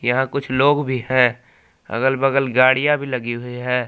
यहाँ कुछ लोग भी है। अगल बगल गाड़ियां भी लगी हुई है।